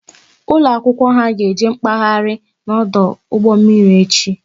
Ụlọ akwụkwọ ha ga eje mkpaghari n'ọdụ ụgbọ mmiri echi